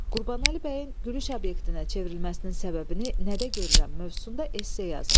Qurbanəli bəyin gülüş obyektinə çevrilməsinin səbəbini nədə görürəm mövzusunda esse yazın.